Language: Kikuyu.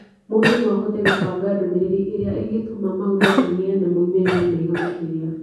Mũndũ no ahote kũbanga ndũmĩrĩri ĩrĩa ĩngĩtũma maũndũ magĩe na moimĩrĩro mega makĩria.